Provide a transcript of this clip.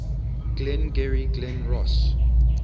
glengarry glen ross